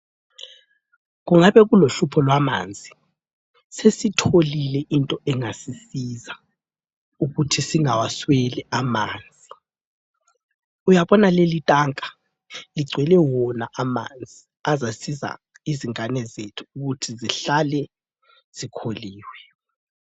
Kungabe kulohlupho lwamanzi. Sesitholile into engasisiza ukuthi singawasweli amanzi. Uyabona leli tanka ligcwele wona amanzi azasiza ingane zethu ukuthi zihlale zikholiwe.